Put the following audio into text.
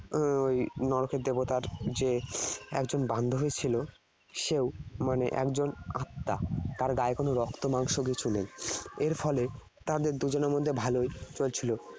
ওই নরকের দেবতার যে একজন বান্ধবী ছিল, সেও মানে একজন আত্মা। তার গায়ে কোন রক্ত মাংস কিছু নেই। এর ফলে তাদের দুজনের মধ্যে ভালই চলছিলো।